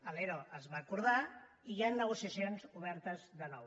l’ero es va acordar i hi han negociacions obertes de nou